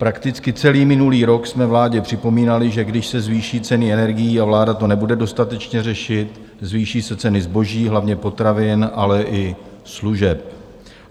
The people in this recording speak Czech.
Prakticky celý minulý rok jsme vládě připomínali, že když se zvýší ceny energií a vláda to nebude dostatečně řešit, zvýší se ceny zboží, hlavně potravin, ale i služeb.